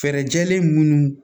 Fɛɛrɛjɛlen minnu